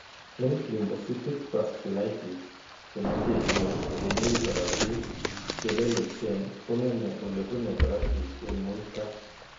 Eng' lymphocytic vasculitis, che meng'echen che mi korotiik che lelechen kong'eme olebune korotiik eng' muito.